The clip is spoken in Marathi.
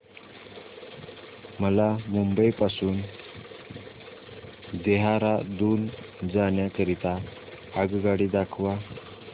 मला मुंबई पासून देहारादून जाण्या करीता आगगाडी दाखवा